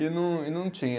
E não, e não tinha.